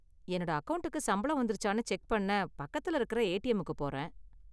என்னோட அக்கவுண்டுக்கு சம்பளம் வந்திருச்சான்னு செக் பண்ண பக்கத்துல இருக்கிற ஏடிஎம்முக்கு போறேன்.